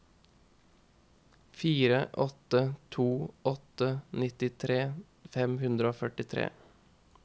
fire åtte to åtte nittitre fem hundre og førtitre